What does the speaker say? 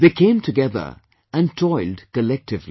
They came together and toiled collectively